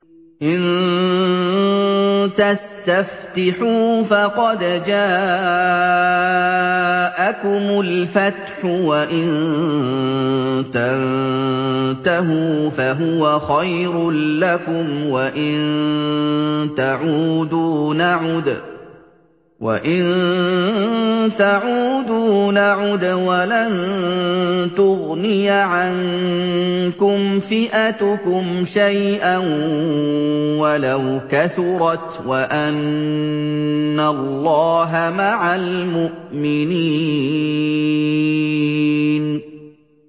إِن تَسْتَفْتِحُوا فَقَدْ جَاءَكُمُ الْفَتْحُ ۖ وَإِن تَنتَهُوا فَهُوَ خَيْرٌ لَّكُمْ ۖ وَإِن تَعُودُوا نَعُدْ وَلَن تُغْنِيَ عَنكُمْ فِئَتُكُمْ شَيْئًا وَلَوْ كَثُرَتْ وَأَنَّ اللَّهَ مَعَ الْمُؤْمِنِينَ